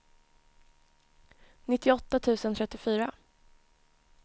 nittioåtta tusen trettiofyra